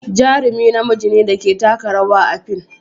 Jarumi namiji ne da ke taka rawa a fim.